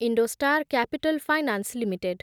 IndoStar capital finance limited